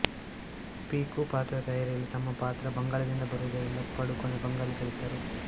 ಪೀಕೂ ಪಾತ್ರದ ತಯಾರಿಯಲ್ಲಿ ತಮ್ಮ ಪಾತ್ರ ಬಂಗಾಳದಿಂದ ಬರುವುದರಿಂದ ಪಡುಕೋಣೆ ಬಂಗಾಳಿ ಕಲಿತರು